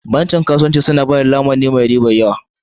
Bankuna na kasuwanci suna ba da lamuni mai yawan riba.